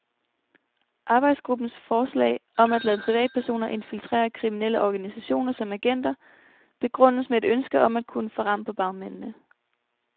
Arbejdsgruppens forslag, om at lade privatpersoner infiltrere kriminelle organisationer som agenter, begrundes med et ønske om at kunne få ram på bagmændene.